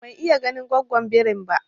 Ban iya ganin gwaggon birin ba